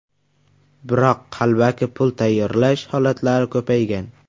Biroq qalbaki pul tayyorlash holatlari ko‘paygan.